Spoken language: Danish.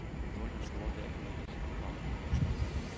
Nu er den store dag imidlertid kommet.